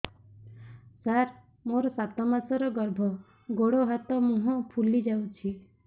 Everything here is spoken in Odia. ସାର ମୋର ସାତ ମାସର ଗର୍ଭ ଗୋଡ଼ ହାତ ମୁହଁ ଫୁଲି ଯାଉଛି